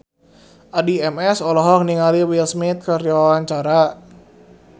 Addie MS olohok ningali Will Smith keur diwawancara